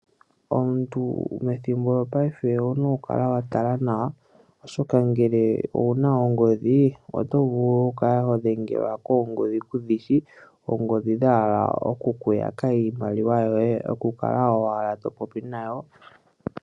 Omuntu methimbo lyopaife owuna okukala watala nawa oshoka ngele owuna ongodhi otovulu okukala hodhengelwa koongodhi kudhishi oongodhi dhahala okukuyaka iimaliwa yoye okukala owala topopi nayo.